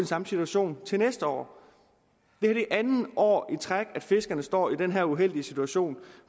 samme situation næste år det er andet år i træk at fiskerne står i den her uheldige situation